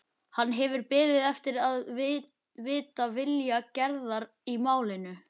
Hann hefur beðið eftir að vita vilja Gerðar í málinu.